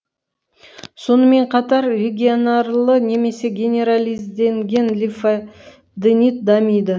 сонымен қатар регионарлы немесе генерализденген лимфа денит дамиды